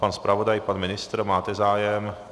Pan zpravodaj, pan ministr, máte zájem?